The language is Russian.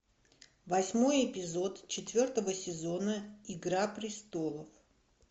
восьмой эпизод четвертого сезона игра престолов